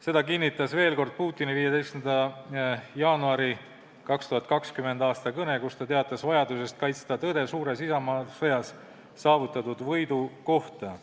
Seda kinnitas veel kord Putini 15. jaanuari 2020. aasta kõne, kus ta teatas vajadusest kaitsta tõde suures isamaasõjas saavutatud võidu kohta.